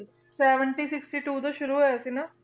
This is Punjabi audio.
Seventy sixty two ਤੋਂ ਸ਼ੁਰੂ ਹੋਇਆ ਸੀ ਨਾ?